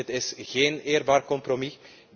Dit is geen eerbaar compromis.